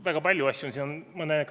Väga palju asju on siin.